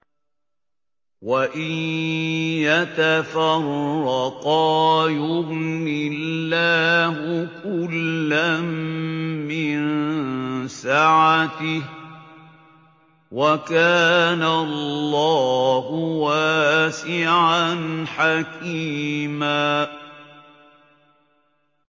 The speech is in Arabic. وَإِن يَتَفَرَّقَا يُغْنِ اللَّهُ كُلًّا مِّن سَعَتِهِ ۚ وَكَانَ اللَّهُ وَاسِعًا حَكِيمًا